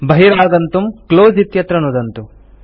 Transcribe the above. बहिरागन्तुं क्लोज़ इत्यत्र नुदन्तु